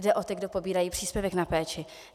Jde o ty, kdo pobírají příspěvek na péči.